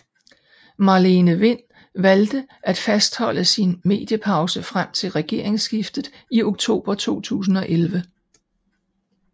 Marlene Wind valgte at fastholde sin mediepause frem til regeringsskiftet i oktober 2011